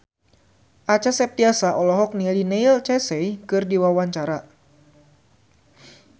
Acha Septriasa olohok ningali Neil Casey keur diwawancara